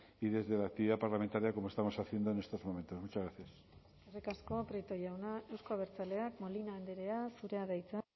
y desde la actividad parlamentaria como estamos haciendo en estos momentos muchas gracias eskerrik asko prieto jauna euzko abertzaleak molina andrea zurea da hitza